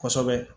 Kosɛbɛ